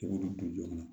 I b'olu don joona